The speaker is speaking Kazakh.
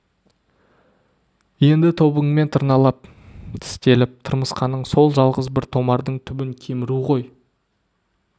енді тобыңмен тырналап тістелеп тырмысқаның сол жалғыз бір томардың түбін кеміру ғой